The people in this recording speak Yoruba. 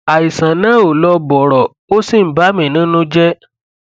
àìsàn náà ò lọ bọrọ ó sì ń bà mí nínú jẹ